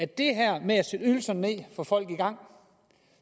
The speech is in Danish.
det her med at sætte ydelserne ned få folk i gang